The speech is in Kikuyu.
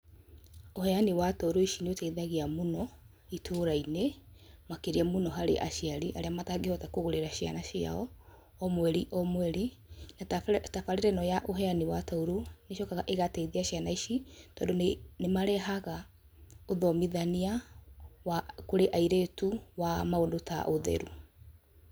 Ũheani wa tauro ici nĩ ũteithagia mũno ĩtũũra-inĩ, makĩria mũno harĩ aciari arĩa matangĩhota kũgũrĩra ciana ciao o mweri o mweri. Tabarĩĩra ĩno ya ũheani wa tauro icokaga ĩgateithia ciana ici tondũ nĩ marehaga ũthomithania wa kũrĩ airĩtu wa maũndũ ta ũtheru.